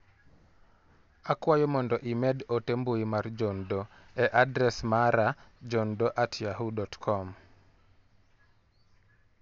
Akwayo mondo imed ote mbui mar John Doe e adres mara johndoe@yahoo.com